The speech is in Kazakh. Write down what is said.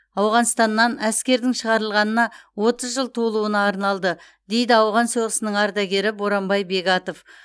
ауғанстаннан әскердің шығарылғанына отыз жыл толуына арналды дейді ауған соғысының ардагері боранбай бегатов